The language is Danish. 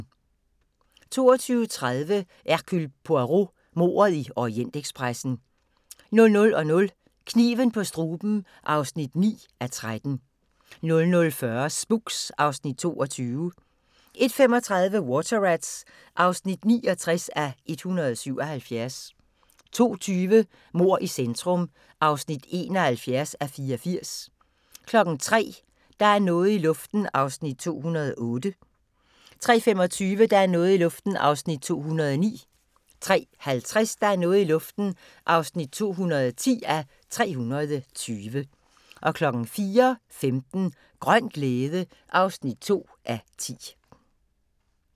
22:30: Hercule Poirot: Mordet i Orientekspressen 00:00: Kniven på struben (9:13) 00:40: Spooks (Afs. 22) 01:35: Water Rats (69:177) 02:20: Mord i centrum (71:84) 03:00: Der er noget i luften (208:320) 03:25: Der er noget i luften (209:320) 03:50: Der er noget i luften (210:320) 04:15: Grøn glæde (2:10)